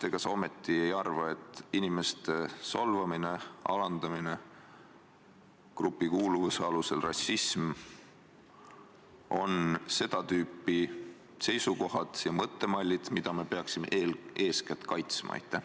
Ega sa ometi ei arva, et inimeste solvamine ja alandamine grupikuuluvuse alusel ning rassism on seda tüüpi seisukohad ja mõttemallid, mida me eeskätt kaitsma peaksime?